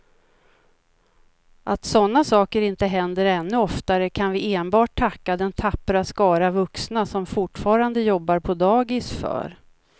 Att sådana saker inte händer ännu oftare kan vi enbart tacka den tappra skara vuxna som fortfarande jobbar på dagis för.